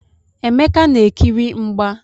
Emeka na-ekiri mgba.